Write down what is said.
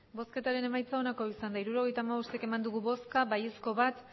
hirurogeita hamabost eman dugu bozka bat bai